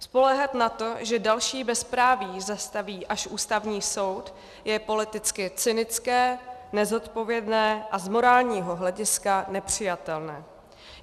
Spoléhat na to, že další bezpráví zastaví až Ústavní soud, je politicky cynické, nezodpovědné a z morálního hlediska nepřijatelné.